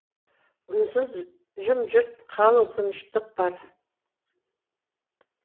үнсіз жым жырт қалың тыныштық бар